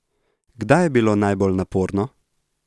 Kdaj je bilo najbolj naporno?